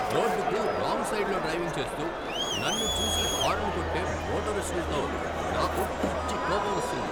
రోడ్డుకు రాంగ్ సైడ్లో డ్రైవింగ్ చేస్తూ, నన్ను చూసి హారన్ కొట్టే మోటరిస్టులతో నాకు పిచ్చి కోపం వస్తుంది.